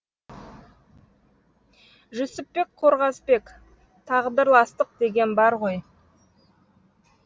жүсіпбек қорғасбек тағдырластық деген бар ғой